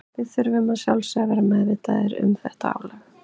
Við þurfum að sjálfsögðu að vera meðvitaðir um þetta álag.